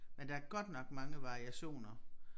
Men der er godt nok mange variationer